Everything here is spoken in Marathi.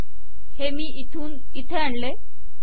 हे मी इथून इथे आणले